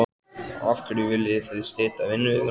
Af hverju viljið þið stytta vinnuvikuna?